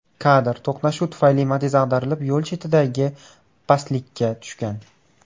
Kadr To‘qnashuv tufayli Matiz ag‘darilib, yo‘l chetidagi pastlikka tushgan.